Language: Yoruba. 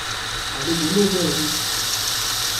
àlejò náà mú kó bẹ̀rẹ̀ sí í